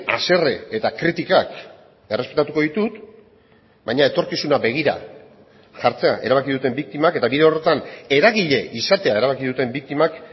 haserre eta kritikak errespetatuko ditut baina etorkizuna begira jartzea erabaki duten biktimak eta bide horretan eragile izatea erabaki duten biktimak